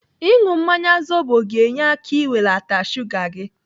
Ịnụ mmanya zobo ga-enye aka n'iwelata shuga gị.